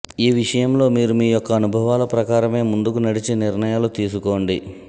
ఈ విషయంలో మీరు మీ యొక్క అనుభవాల ప్రకారమే ముందుకు నడిచి నిర్ణయాలు తీసుకోండి